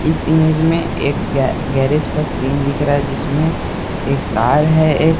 इस इमेज में एक गै गैरेज का सीन दिख रहा है जिसमें एक कार है एक--